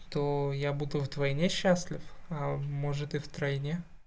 то я буду вдвойне счастлив а может и втройне